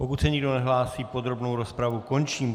Pokud se nikdo nehlásí, podrobnou rozpravu končím.